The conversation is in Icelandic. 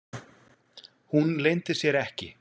Hún leyndi sér ekki.